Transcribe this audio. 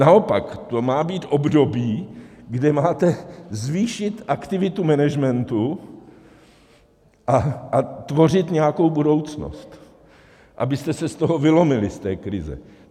Naopak, to má být období, kde máte zvýšit aktivitu managementu a tvořit nějakou budoucnost, abyste se z toho vylomili, z té krize.